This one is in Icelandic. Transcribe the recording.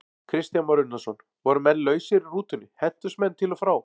Kristján Már Unnarsson: Voru menn lausir í rútunni, hentust menn til og frá?